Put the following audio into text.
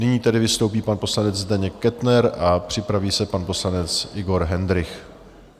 Nyní tedy vystoupí pan poslanec Zdeněk Kettner a připraví se pan poslanec Igor Hendrych.